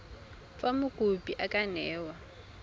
fa mokopi a ka newa